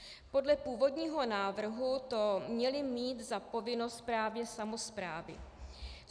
Podle původního návrhu to měly mít za povinnost právě samosprávy.